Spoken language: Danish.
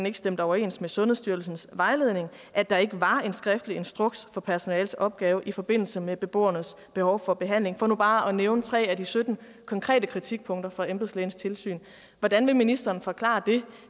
ikke stemte overens med sundhedsstyrelsens vejledning og at der ikke var en skriftlig instruks for personalets opgave i forbindelse med beboernes behov for behandling for nu bare at nævne tre af de sytten konkrete kritikpunkter fra embedslægens tilsyn hvordan vil ministeren forklare det